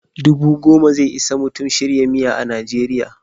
Dubu goma ze isa Mutum shirya miya a Najeriya.